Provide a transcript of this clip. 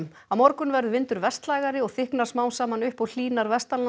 á morgun verður vindur vestlægari og þykknar smám saman upp og hlýnar